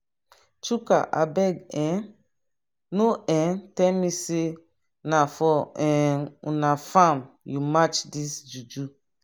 chuka abeg um no um tell me say na for um una farm you match dis juju.